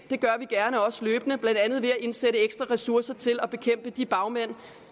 også gerne løbende blandt andet ved at indsætte ekstra ressourcer til at bekæmpe de bagmænd